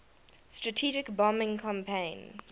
strategic bombing campaign